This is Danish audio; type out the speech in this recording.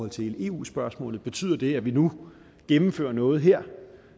til eu spørgsmålet betyder det at vi nu gennemfører noget her